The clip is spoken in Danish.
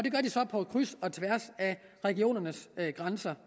på kryds og tværs af regionernes grænser